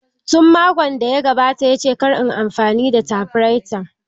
Tun makon da ya gabata ya ce kar inyi amfani da tafiraita.